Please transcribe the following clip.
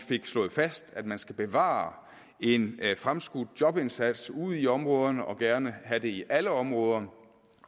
slået fast at man skal bevare en fremskudt jobindsats ude i områderne og gerne have den i alle områderne